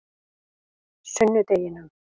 sunnudeginum